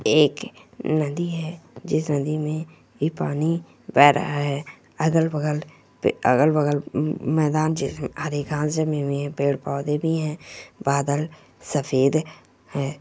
एक नदी है जिस नदी में पानी बह रहा है अगल-बगल पे अगल बगल में मैदान में आधी घास जमी हुई है पेड़-पौधे भी है बादल सफेद है।